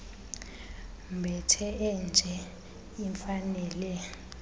mbethe enje imfanele